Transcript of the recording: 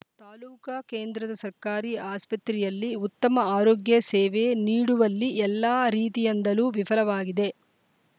ತಾಲೂಕ ಕೇಂದ್ರದ ಸರ್ಕಾರಿ ಆಸ್ಪತ್ರೆಯಲ್ಲಿ ಉತ್ತಮ ಆರೋಗ್ಯ ಸೇವೆ ನೀಡುವಲ್ಲಿ ಎಲ್ಲಾ ರೀತಿಯಂದಲೂ ವಿಫಲವಾಗಿದೆ